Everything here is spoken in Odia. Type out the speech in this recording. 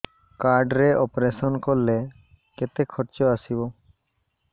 କାର୍ଡ ରେ ଅପେରସନ କଲେ କେତେ ଖର୍ଚ ଆସିବ